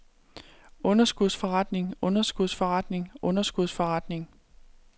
underskudsforretning underskudsforretning underskudsforretning